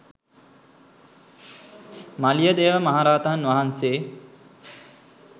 මලියදේව මහ රහතන් වහන්සේ